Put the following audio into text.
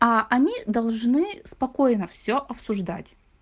а они должны спокойно все обсуждать